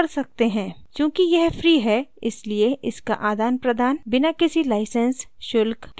चूँकि यह free है इसलिए इसका आदानप्रदान बिना किसी license शुल्क के किया जा सकता है